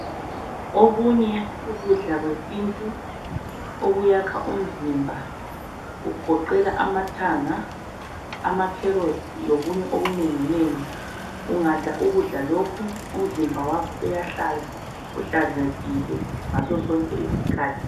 Okunye ukudla kwesintu okuyakha umzimba kugoqela amathanga, amacarrots lokunye okunenginengi. Ungadla ukudla lokhu umzimba wakho uyahlala uhlanzekile ngaso sonke isikhathi.